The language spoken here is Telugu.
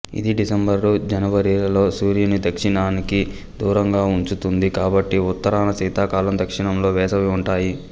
ఇది డిసెంబరు జనవరిలలో సూర్యున్నిదక్షిణనానికి దూరంగా ఉంచుతుంది కాబట్టి ఉత్తరాన శీతాకాలం దక్షిణంలో వేసవి ఉంటాయి